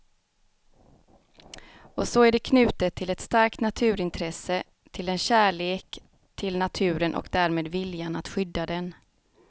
Och så är det knutet till ett starkt naturintresse, till en kärlek till naturen och därmed viljan att skydda den.